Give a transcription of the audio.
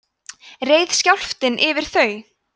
reið skjálftinn yfir þau